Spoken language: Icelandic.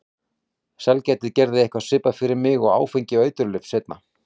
Sælgæti gerði eitthvað svipað fyrir mig og áfengi og eiturlyf seinna.